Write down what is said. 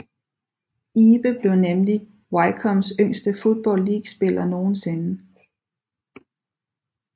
Ibe blev nemlig Wycombes yngste Football League spiller nogensinde